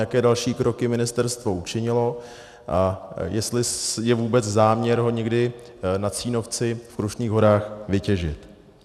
Jaké další kroky ministerstvo učinilo a jestli je vůbec záměr ho někdy na Cínovci v Krušných horách vytěžit?